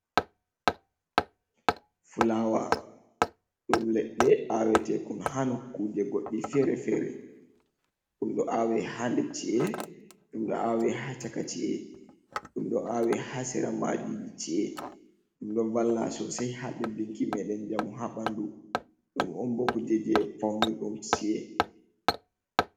Fulawa ɗum leɗɗe awete kon ha nokuje goɗɗi fere-fere, dum ɗo awe ha nder chi’e, ɗum ɗo awe ha chaka ci’e, ɗum ɗo awe ha sera madiji chi’e, ɗum ɗo valla sosei ha ɓeddinki meden jamu ha ɓandu, ɗum umbo kuje je faunirɗum ci’e.